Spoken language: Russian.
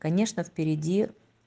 конечно впереди